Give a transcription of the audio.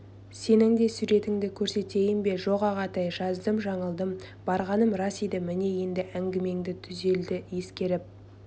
сенің де суретіңді көрсетейін бе жоқ ағатай жаздым-жаңылдым барғаным рас еді міне енді әңгімеңі түзелді ескертіп